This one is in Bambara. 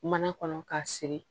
Mana kɔnɔ k'a siri